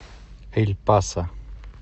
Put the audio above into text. эль пасо